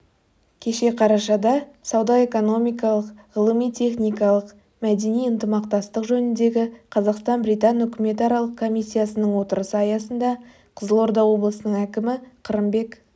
кеше қарашада сауда-экономикалық ғылыми-техникалық мәдени ынтымақтастық жөніндегі қазақстан-британ үкіметаралық комиссиясының отырысы аясында қызылорда облысының әкімі қырымбек